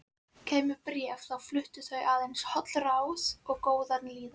Kæmu bréf þá fluttu þau aðeins hollráð og góða líðan.